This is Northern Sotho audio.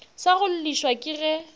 sa go llišwa ke ge